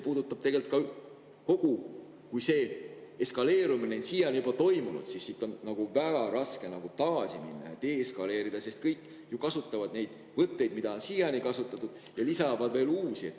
Kui see eskaleerumine on siiani toimunud, siis on väga raske tagasi minna, deeskaleerida, sest kõik ju kasutavad neid võtteid, mida siiani on kasutatud, ja lisatakse veel uusi.